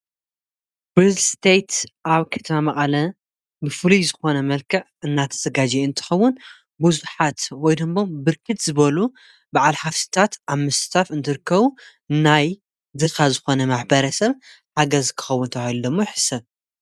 ሪልስቴት ኣብ ከተማ መቐለ ብፍሉይ ዝኾነ መልክዕ እናተዘጋጀየ እንትኸውን ብዙሓት ወይ ድማ ብርክት ዝበሉ ባዓል ሃፍትታት ኣብ ምስታፍ እንትርከቡ ናይ ድኻ ዝኾነ ማሕበረሰብ ሓገዝ ክኸውን ሓገዝ ክከውን ተባሂሉ ዶሞ ይሕስብ።